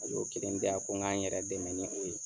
O yo kelen di yan ko k'an yɛrɛ dɛmɛ ni o ye.